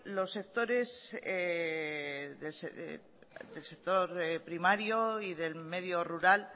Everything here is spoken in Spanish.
los sectores del sector primario y del medio rural